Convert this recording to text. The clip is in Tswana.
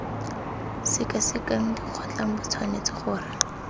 sekasekang dikgotlang bo tshwanetse gore